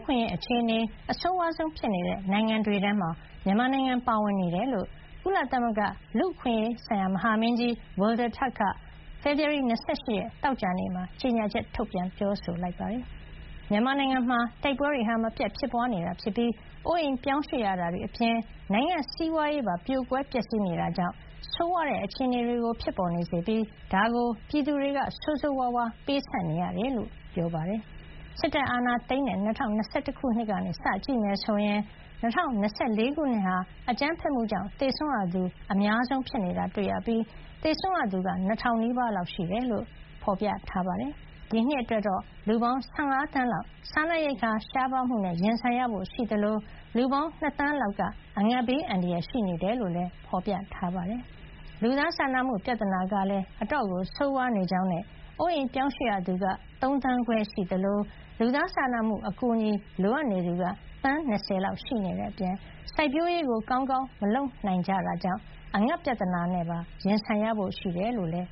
ခွင့်ရေးအခြေအနေ အဆိုးဝါးဆုံးဖြစ်နေတဲ့ နိုင်ငံတွေထဲမှာ မြန်မာနိုင်ငံ ပါဝင်နေတယ်လို့ ကုလသမဂ္ဂ လူ့အခွင့်အရေးမဟာမင်းကြီး Volker Türk က ဖေဖေါ်ဝါရီ ၂၈ ရက် သောကြာနေ့က ကြေညာချက် ထုတ်ပြန် ပြောဆိုလိုက်ပါတယ်။ မြန်မာနိုင်ငံမှာ တိုက်ပွဲတွေ မပြတ်ဖြစ်ပွါးနေပြီး၊ အိုးအိမ် ပြောင်းရွှေ့ရတာတွေအပြင် နိုင်ငံ့စီးပွါးရေးပါ ပြိုကွဲ ပျက်စီးနေတာကြောင့် ဆိုးဝါးတဲ့ အခြေအနေအတွက် ပြည်သူတွေက ဆိုးဆိုးဝါးဝါး ပေးဆပ်နေရတယ်လို့လည်း ပြောပါတယ်။ စစ်တပ်အာဏာသိမ်းတဲ့ ၂၀၂၁ ခုနှစ်ကနေ စကြည့်မယ်ဆိုရင် ၂၀၂၄ ခုနှစ်ဟာ အကြမ်းဖက်မှုကြောင့် သေဆုံးရသူ အများဆုံး ဖြစ်တာတွေ့ရပြီး သေဆုံးရသူက ၂,၀၀၀ နီးပါးလောက် ရှိတယ်လို့ ဖေါ်ပြထားပါတယ်။ ဒီနှစ်အတွက်တော့ လူပေါင်း ၁၅ သန်းလောက် စားနပ်ရိက္ခာ ရှားပါးမှုနဲ့ ရင်ဆိုင်ရဖို့ ရှိသလို လူပေါင်း ၂ သန်းလောက်က အငတ်ဘေးအန္တရာယ် ရှိနေတယ်လို့ ဖေါ်ပြထားပါတယ်။ လူသားစာနာမှု ပြဿနာကလည်း ဆိုးဝါးနေကြောင်းနဲ့ အိုးအိမ်ပြောင်းရွှေ့ရသူပေါင်း ၃ သန်းခွဲရှိသလို၊ လူသားစာနာမှု အကူအညီ လိုအပ်သူက သန်း ၂၀ လောက် ရှိနေတဲ့အပြင် စိုက်ပျိုးရေးကောင်းကောင်း မလုပ်နိုင်တာကြောင့် အငတ်ပြဿနာနဲ့ ရင်ဆိုင်ရဖို့ ရှိတယ်လို့လည်း